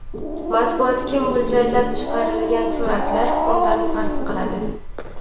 Matbuotga mo‘ljallab chiqarilgan suratlar undan farq qiladi.